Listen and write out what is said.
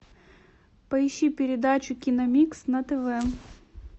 поищи передачу киномикс на тв